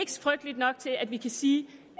frygteligt nok til at vi kan sige